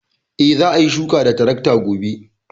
E, za a yi shuka da tarakta gobe.